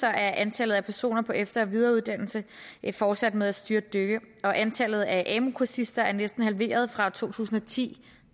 er antallet af personer på efter og videreuddannelse fortsat med at styrtdykke og antallet af amu kursister er næsten halveret fra to tusind og ti